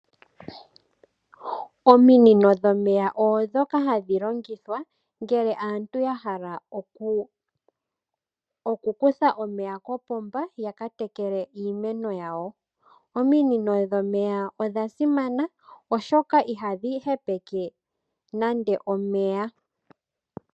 Ominino dhomeya ondhoka hadhi longithwa ngele aantu ya hala okukutha omeya kopomba ya ka tekele iimeno yawo. Ominino dhomeya odha simana oshoka ihadhi hepeke nande omeya.